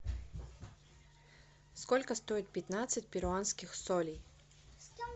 сколько стоит пятнадцать перуанских солей